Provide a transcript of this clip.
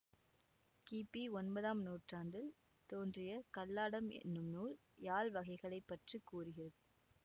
கிபி ஒன்பதாம் நூற்றாண்டில் தோன்றிய கல்லாடம் என்னும் நூல் யாழ் வகைகளை பற்று கூறுகிறது